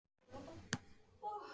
Best að fara að drífa sig.